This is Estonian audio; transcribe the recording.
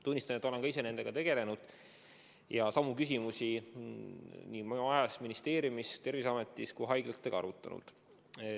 Tunnistan, et olen ka ise nendega tegelenud ja samu küsimusi nii ministeeriumis, Terviseametis kui ka haiglatega arutanud.